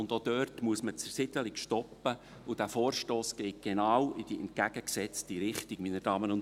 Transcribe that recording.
Auch dort muss man die Zersiedelung stoppen, und dieser Vorstoss geht genau in die entgegengesetzte Richtung.